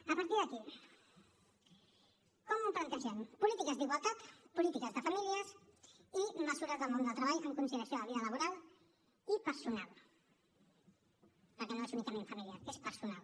a partir d’aquí com ho plantegem polítiques d’igualtat polítiques de famílies i mesures del món del treball amb conciliació amb la vida laboral i personal perquè no és únicament familiar és personal